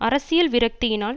அரசியல் விரக்தியினால்